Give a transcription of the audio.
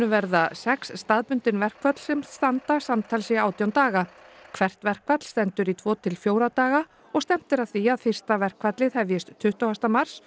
verða sex staðbundin verkföll sem standa samtals í átján daga hvert verkfall stendur í tvo til fjóra daga stefnt er að því að fyrsta verkfallið hefjist tuttugasta mars